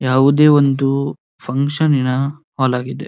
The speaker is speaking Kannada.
ಯಾವುದೇ ಒಂದು ಫಂಕ್ಷನ್ಸ್ ನಿನ ಹಾಲ್ ಆಗಿದೆ.